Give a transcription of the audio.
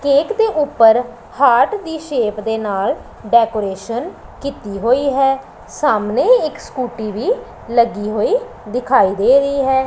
Cake ਦੇ ਊਪਰ heart ਦੀ ਸ਼ੇਪ੍ ਦੇ ਨਾਲ ਡੈਕੋਰੇਸ਼ਨ ਕੀਤੀ ਹੋਈ ਹੈ ਸਾਹਮਣੇ ਇੱਕ ਸਕੂਟੀ ਵੀ ਲੱਗੀ ਹੋਈ ਦਿਖਾਈ ਦੇ ਰਹੀ ਹੈ।